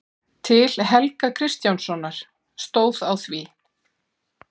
Til Helga kristjánssonar, stóð á því.